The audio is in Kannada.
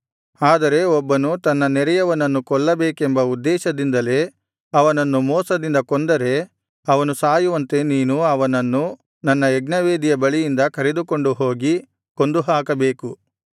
ಆದರೆ ಒಬ್ಬನು ತನ್ನ ನೆರೆಯವನನ್ನು ಕೊಲ್ಲಬೇಕೆಂಬ ಉದ್ದೇಶದಿಂದಲೇ ಅವನನ್ನು ಮೋಸದಿಂದ ಕೊಂದರೆ ಅವನು ಸಾಯುವಂತೆ ನೀನು ಅವನನ್ನು ನನ್ನ ಯಜ್ಞವೇದಿಯ ಬಳಿಯಿಂದ ಕರೆದುಕೊಂಡು ಹೋಗಿ ಕೊಂದುಹಾಕಬೇಕು